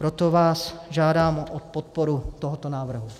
Proto vás žádám o podporu tohoto návrhu.